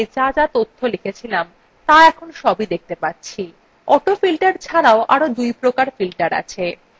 দেখুন আমরা আগে যা তথ্য লিখেছিলাম ত়া এখন দেখতে পাচ্ছি